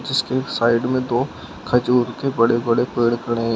उसके एक साइड में दो खजूर के बड़े बड़े खड़े हैं।